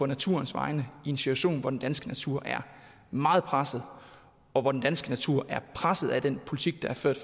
naturens vegne i en situation hvor den danske natur er meget presset og hvor den danske natur er presset af den politik der er ført